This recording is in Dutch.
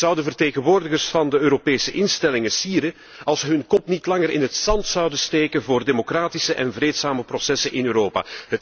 Het zou de vertegenwoordigers van de Europese instellingen sieren als ze hun kop niet langer in het zand zouden steken voor democratische en vreedzame processen in Europa.